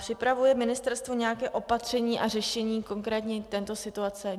Připravuje ministerstvo nějaké opatření a řešení konkrétně této situace?